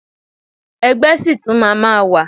Ẹgbẹ́ ṣì tún máa ma wà.